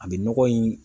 A bɛ nɔgɔ in